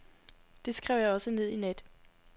Det skrev jeg også ned i nat.